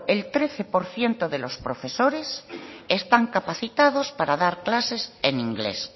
el trece por ciento de los profesores están capacitados para dar clases en inglés